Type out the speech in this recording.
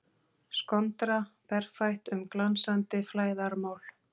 Skondra berfætt um glansandi flæðarmál.